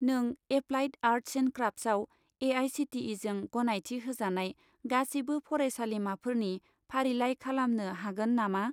नों applied arts and क्राफ्टसआव ए.आइ.सि.टि.इ.जों गनायथि होजानाय गासिबो फरायसालिमाफोरनि फारिलाइ खालामनो हागोन नामा?